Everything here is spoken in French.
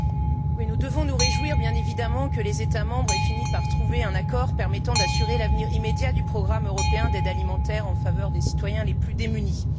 Monsieur le Président, nous devons nous réjouir, bien évidemment, que les États membres aient fini par trouver un accord permettant d'assurer l'avenir immédiat du programme européen d'aide alimentaire en faveur des citoyens les plus démunis.